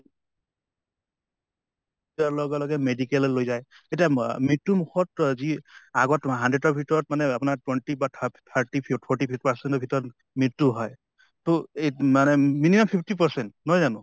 লগে লগে medical লৈ যায় এতিয়া ম মৃত্য়ু মুখত যি আগ্ত তো hundred ৰ ভিতৰত মানে আপোনা twenty বা thirty forty percent ৰ ভিতৰত মৃত্য়ু হয়। তহ এই মানে minimum fifty percent নহয় জানো?